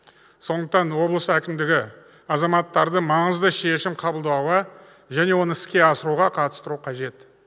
сондықтан облыс әкімдігі азаматтарды маңызды шешім қабылдауға және оны іске асыруға қатыстыруы қажет